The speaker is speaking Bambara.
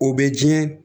O bɛ diɲɛ